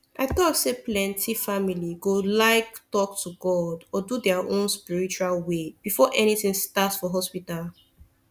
i talk sayplenty family go like talk to god or do their own spiritual way before anything start for hospital